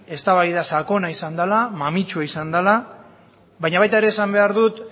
eztabaida sakona izan dela mamitsua izan dela baina baita ere esan behar dut